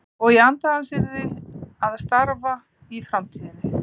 Og í anda hans yrði að starfa í framtíðinni.